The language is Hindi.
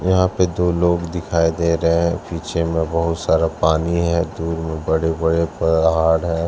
यहां पे दो लोग दिखाई दे रहे हैं पीछे में बहुत सारा पानी है दूर में बड़े बड़े पहाड़ हैं।